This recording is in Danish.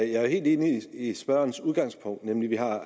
jeg er helt enig i spørgerens udgangspunkt nemlig at vi har at